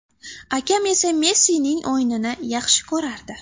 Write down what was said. Akam esa Messining o‘yinini yaxshi ko‘rardi.